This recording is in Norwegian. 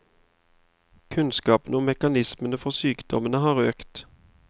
Kunnskapen om mekanismene for sykdommene har økt.